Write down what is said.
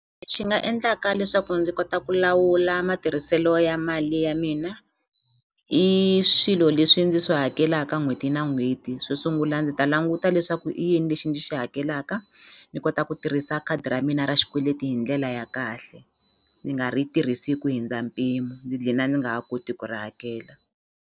nga endlaka leswaku ndzi kota ku lawula matirhiselo ya mali ya mina i swilo leswi ndzi swi hakelaka n'hweti na n'hweti xo sungula ndzi ta languta leswaku i yini lexi ni xi hakelaka ni kota ku tirhisa khadi ra mina ra xikweleti hi ndlela ya kahle ndzi nga ri tirhisi ku hindza mpimo ni dlina ni nga ha koti ku ri hakela.